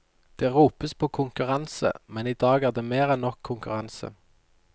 Det ropes på konkurranse, men i dag er det mer enn nok konkurranse.